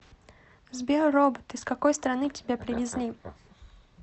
сбер робот из какой страны тебя привезли